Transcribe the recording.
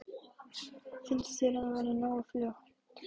Heimir: Finnst þér það vera nógu fljótt?